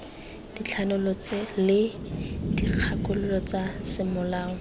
dithanolo le dikgakololo tsa semolao